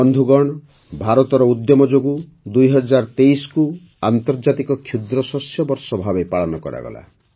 ବନ୍ଧୁଗଣ ଭାରତର ଉଦ୍ୟମ ଯୋଗୁଁ ୨୦୨୩କୁ ଆନ୍ତର୍ଜାତିକ କ୍ଷୁଦ୍ରଶସ୍ୟ ବର୍ଷ ଭାବେ ପାଳନ କରାଗଲା